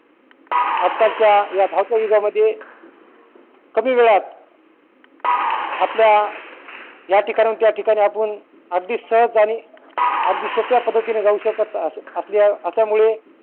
आज कालच्या या धावत्या युगा मध्ये कमी वेळात आपल्या या ठिकाणी हुन त्या ठिकाणी आपुन अगदी सहज आणि अगदी सोप्या पद्धतीने जाऊ शकत असं असल्या असल्यामुळे